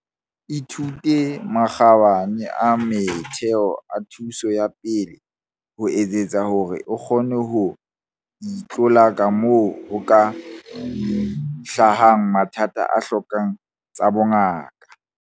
Ithute makgabane a motheo a thuso ya pele, ho etsetsa hore o kgone ho itlolaka moo ho ka hlahang mathata a hlokang tsa bongaka.